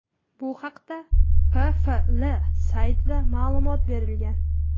Bu haqda PFL saytida ma’lumot berilgan .